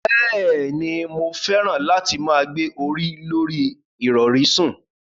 Bẹ́ẹ̀ni, mo fẹ́ràn láti máa gbé orí lorí ìrọ̀rí sùn.